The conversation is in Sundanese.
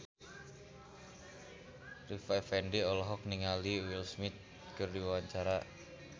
Rita Effendy olohok ningali Will Smith keur diwawancara